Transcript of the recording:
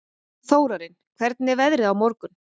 Þórarinn, hvernig er veðrið á morgun?